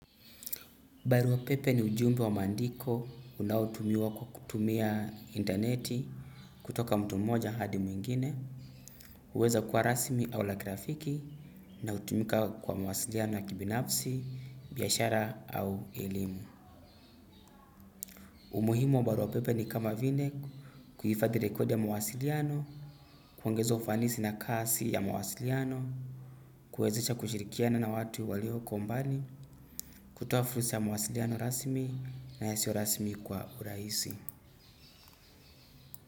Barua pepe ni ujumbe wa maandiko unaotumiwa kwa kutumia intaneti kutoka mtu moja hadi mwingine, huweza kuwa rasmi au la ka kirafiki na hutumika kwa mawasiliano ya kibinafsi, biashara au elimu. Umuhimu wa barua pepe ni kama vile kuhifadhi rekodi ya mawasiliano, kuongeza ufanisi na kasi ya mawasiliano, kuwezesha kushirikiana na watu walioko mbali, kutoa fursa ya mawasiliano rasmi na yasio rasmi kwa urahisi.